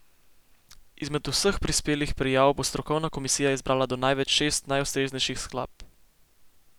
Izmed vseh prispelih prijav bo strokovna komisija izbrala do največ šest najustreznejših skladb.